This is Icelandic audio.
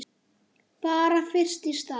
Bara fyrst í stað.